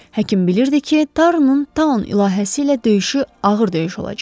Həkim bilirdi ki, Tanın ilahəsi ilə döyüşü ağır döyüş olacaq.